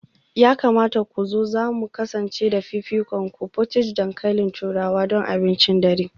Ya kamata ku zo, za mu kasance da fifikonku; portage dankalin turawa don abincin dare